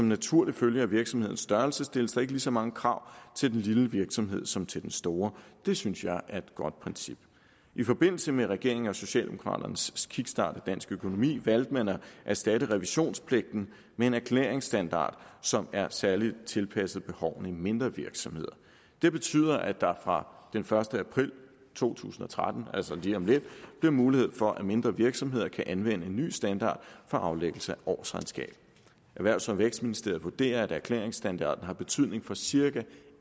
naturlig følge af virksomhedens størrelse stilles der ikke lige så mange krav til den lille virksomhed som til den store det synes jeg er et godt princip i forbindelse med regeringen og socialdemokraternes kickstart af dansk økonomi valgte man at erstatte revisionspligten med en erklæringsstandard som er særligt tilpasset behovene i mindre virksomheder det betyder at der fra den første april to tusind og tretten altså lige om lidt bliver mulighed for at mindre virksomheder kan anvende en ny standard for aflæggelse af årsregnskab erhvervs og vækstministeriet vurderer at erklæringsstandarden har betydning for cirka